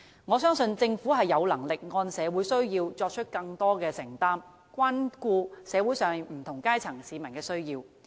我相信，政府有能力按社會需要作出更多承擔，關顧社會上不同階層市民的需要。